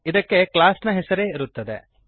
ಇದಕ್ಕೆ ಕ್ಲಾಸ್ ನ ಹೆಸರೇ ಇರುತ್ತದೆ